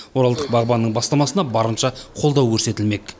оралдық бағбанның бастамасына барынша қолдау көрсетілмек